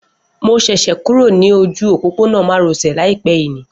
Mo ṣẹ̀ṣẹ̀ kúrò ní ojú òpópónà má ro sè láìpé yìí ni